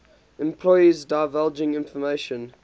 employees divulging information